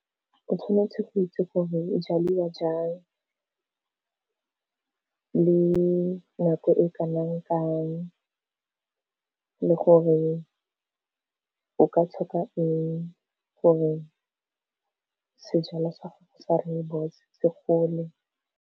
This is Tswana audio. O tshwanetse go itse gore e jaliwa jang. Le nako e kanang kang, le gore o ka tlhoka eng gore sejalo sa ga go sa rooibos se gole.